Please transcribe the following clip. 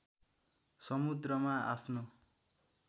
समुद्रमा आफ्नो